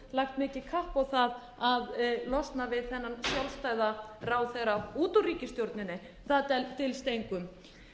lagt mikið kapp á það að losna við þennan sjálfstæða ráðherra út úr ríkisstjórninni það dylst engum